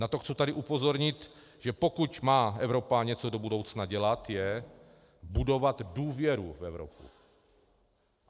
Na to tady chci upozornit, že pokud má Evropa něco do budoucna dělat, je budovat důvěru v Evropu.